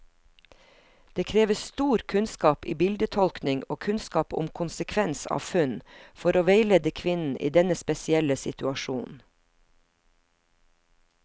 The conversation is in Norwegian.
Det krever stor kunnskap i bildetolkning og kunnskap om konsekvens av funn, for å veilede kvinnen i denne spesielle situasjonen.